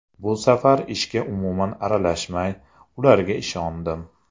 Bu safar ishga umuman aralashmay, ularga ishondim.